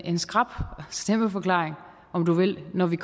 en skrap stemmeforklaring om du vil når vi